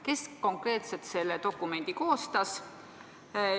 Kes konkreetselt selle dokumendi koostas?